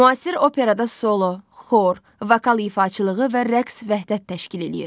Müasir operada solo, xor, vokal ifaçılığı və rəqs vəhdət təşkil eləyir.